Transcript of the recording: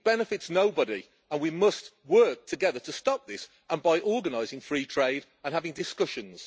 It benefits nobody, and we must work together to stop this by organising free trade and having discussions.